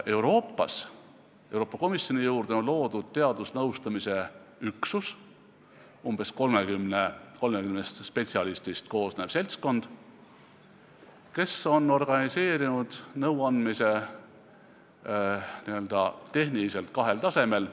Euroopas on Euroopa Komisjoni juurde loodud teadusnõustamise üksus, s.o umbes 30 spetsialistist koosnev seltskond, kes on nõuandmise organiseerinud n-ö tehniliselt kahel tasemel.